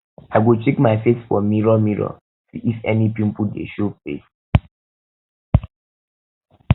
i go check my face for mirror mirror see if any pimple dey show face